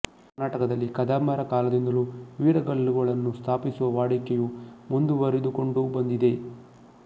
ಕರ್ನಾಟಕದಲ್ಲಿ ಕದಂಬರ ಕಾಲದಿಂದಲೂ ವೀರಗಲ್ಲುಗಳನ್ನು ಸ್ಥಾಪಿಸುವ ವಾಡಿಕೆಯು ಮುಂದುವರಿದುಕೊಂಡು ಬಂದಿದೆ